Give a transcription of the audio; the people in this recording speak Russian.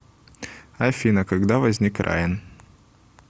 афина когда возник раен